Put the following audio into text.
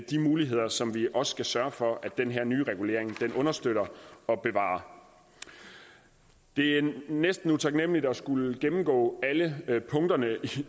de muligheder som vi også skal sørge for at den her nye regulering understøtter og bevarer det er en næsten utaknemmelig opgave at skulle gennemgå alle punkterne